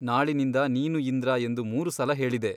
ನಾಳಿನಿಂದ ನೀನು ಇಂದ್ರ ಎಂದು ಮೂರು ಸಲ ಹೇಳಿದೆ.